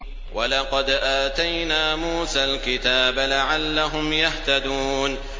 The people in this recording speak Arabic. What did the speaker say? وَلَقَدْ آتَيْنَا مُوسَى الْكِتَابَ لَعَلَّهُمْ يَهْتَدُونَ